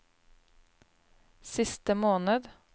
siste måned